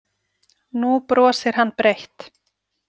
Nú brosir hann breitt.